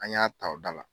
An y'a ta o da la